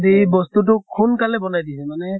দি বস্তুতোক সোনকালে বনাই দিছে মানে